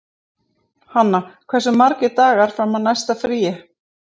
Hanna, hversu margir dagar fram að næsta fríi?